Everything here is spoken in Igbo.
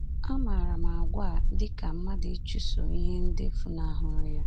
A maara àgwà a dị ka mmadụ ịchụso ihe ndị fụnahụrụ ya.